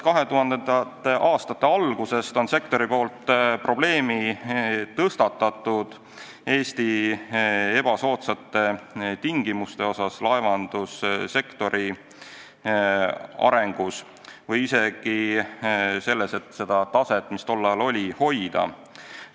2000. aastate alguses tõstatas sektor probleemi, et Eestis valitsevad laevandussektori arenguks ebasoodsad tingimused ja isegi olemasolevat taset on raske hoida.